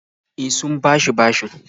E, sun bani bashin.